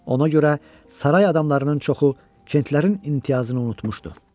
Ona görə saray adamlarının çoxu Kentlərin imtiyazını unutmuşdu.